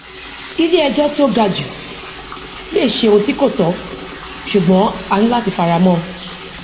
ilé ejò tí ó ga jù lè ṣe òun tí kò tó ṣùgbọn a ní láti fara mọ